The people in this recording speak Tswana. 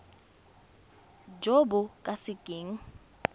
jo bo ka se keng